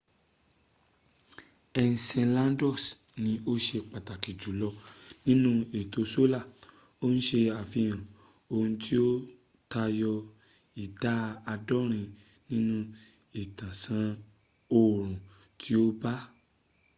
enceladus ni ó ṣe pàtàkì jùlọ nínú ètò solar ó ń ṣe àfihàn ohun tí ó tayọ ìdá àádọ́rin nínú ìtàsán oòrun tí ó bà á